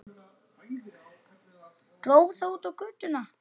Dró það út á götuna.